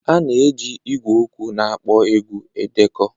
A na-eji igwe okwu na-akpọ egwu edekọ